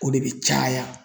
O de bɛ caya.